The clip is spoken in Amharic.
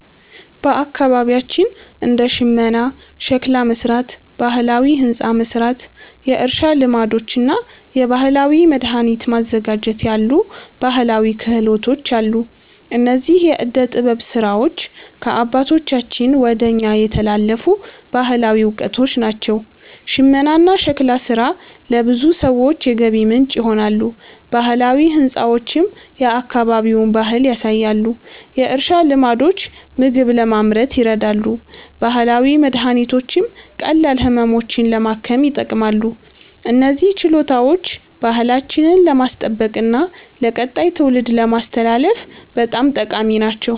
በአካባቢያችን እንደ ሽመና፣ ሸክላ መሥራት፣ ባህላዊ ሕንፃ መሥራት፣ የእርሻ ልማዶች እና የባህላዊ መድኃኒት ማዘጋጀት ያሉ ባህላዊ ክህሎቶች አሉ። እነዚህ የዕደ ጥበብ ሥራዎች ከአባቶቻችን ወደ እኛ የተላለፉ ባህላዊ እውቀቶች ናቸው። ሽመናና ሸክላ ሥራ ለብዙ ሰዎች የገቢ ምንጭ ይሆናሉ፣ ባህላዊ ሕንፃዎችም የአካባቢውን ባህል ያሳያሉ። የእርሻ ልማዶች ምግብ ለማምረት ይረዳሉ፣ ባህላዊ መድኃኒቶችም ቀላል ህመሞችን ለማከም ይጠቅማሉ። እነዚህ ችሎታዎች ባህላችንን ለማስጠበቅና ለቀጣይ ትውልድ ለማስተላለፍ በጣም ጠቃሚ ናቸው።